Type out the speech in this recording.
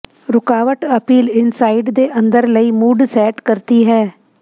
ਰੁਕਾਵਟ appeal inside ਦੇ ਅੰਦਰ ਲਈ ਮੂਡ ਸੈੱਟ ਕਰਦੀ ਹੈ